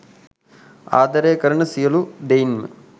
ආදරය කරන සියලූ දෙයින්ම